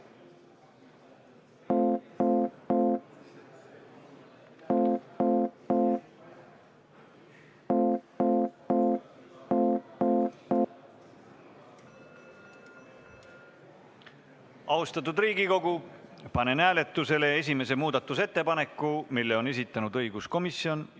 Austatud Riigikogu, panen hääletusele esimese muudatusettepaneku, mille on esitanud õiguskomisjon.